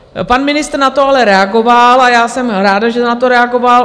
Pan ministr na to ale reagoval a já jsem ráda, že na to reagoval.